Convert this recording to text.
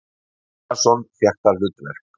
Baldvin Einarsson fékk það hlutverk.